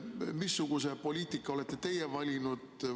Missuguse poliitika olete teie valinud?